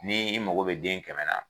Ni i mago be den kɛmɛ na